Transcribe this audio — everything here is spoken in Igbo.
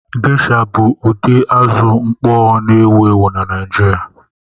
Gesha bụ ụdị azụ mkpọ na-ewu ewu na Naịjirị.